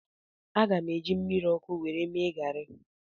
Aga m eji mmiri ọkụ mee garị